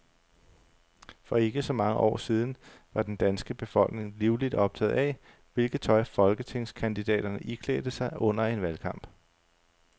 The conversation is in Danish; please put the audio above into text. For ikke så mange år siden var den danske befolkning livligt optaget af, hvilket tøj folketingskandidaterne iklædte sig under en valgkamp.